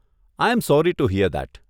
I am sorry to hear that.